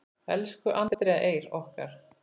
Elsku Andrea Eir okkar.